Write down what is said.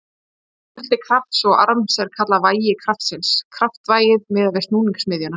Margfeldi krafts og arms er kallað vægi kraftsins, kraftvægið, miðað við snúningsmiðjuna.